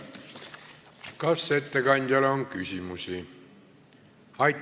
Kas ettekandjale on küsimusi?